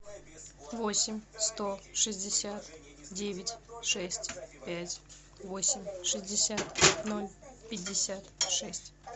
восемь сто шестьдесят девять шесть пять восемь шестьдесят ноль пятьдесят шесть